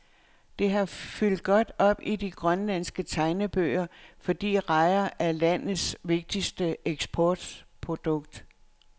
Det har fyldt godt op i de grønlandske tegnebøger, fordi rejer er landets vigtigste eksportprodukt.